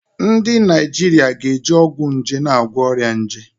Ndị Naijiria ga na-eji ọgwụ nje na-agwọ ọrịa nje.